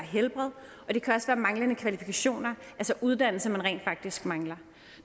manglende kvalifikationer altså uddannelse som man rent faktisk mangler